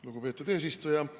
Lugupeetud eesistuja!